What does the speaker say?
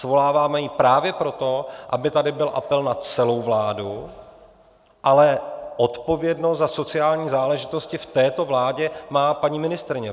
Svoláváme ji právě proto, aby tady byl apel na celou vládu, ale odpovědnost za sociální záležitosti v této vládě má paní ministryně.